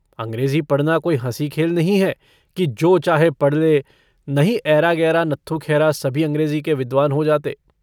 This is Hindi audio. अँग्रेज़ी पढ़ना कोई हँसी-खेल नहीं है कि जो चाहे पढ़ ले। नहीं ऐरा-गैरा नत्थूखैरा सभी अंग्रेज़ी के विद्वान हो जाते।